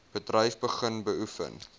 bedryf begin beoefen